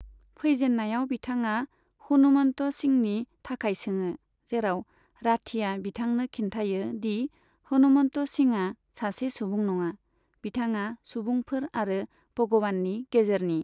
फैजेन्नायाव, बिथाङा हनुमन्त सिंहनि थाखाय सोङो, जेराव राठीया बिथांनो खिन्थायो दि हनुमन्त सिंहआ सासे सुबुं नङा, बिथाङा सुबुंफोर आरो भगवाननि गेजेरनि।